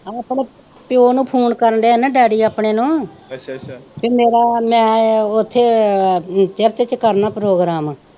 ਆਪਣੇ ਪਿਓ ਨੂੰ ਕਰਨ ਦਿਆ ਹੀ ਨਾ ਡੈਡੀ ਆਪਣੇ ਨੂੰ ਊ ਪੀ ਮੇਰਾ ਮੈ ਆਹ ਉੱਥੇ ਆਹ ਚਰਚ ਚ ਕਰਨਾ ਆ ਪ੍ਰੋਗਰਾਮ।